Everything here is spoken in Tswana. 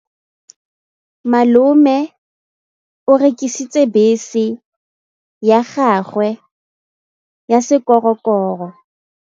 Malome o rekisitse bese ya gagwe ya sekgorokgoro.